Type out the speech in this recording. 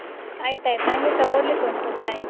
ಆಯ್ತಾಯ್ತು, ನಂಗೆಸ ಓದ್ಲಿಕುಂಟು bye .